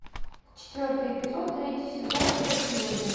четвертый эпизод третий сезон сверхлюди